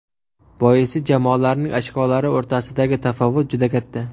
Boisi jamoalarning ochkolari o‘rtasidagi tafovut juda katta.